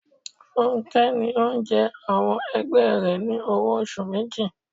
Fúnké ní òun jẹ àwọn ẹgbẹ́ rẹ ní owó oṣù méjì.